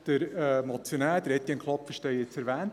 Der Motionär Etienne Klopfenstein hat es erwähnt: